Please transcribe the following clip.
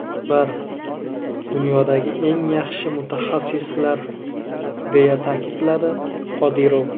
Ular dunyodagi eng yaxshi mutaxassislar”, deya ta’kidladi Qodirov.